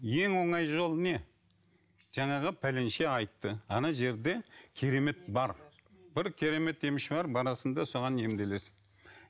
ең оңай жолы не жаңағы пәленше айтты ана жерде керемет бар бір керемет емші бар барасың да соған емделесің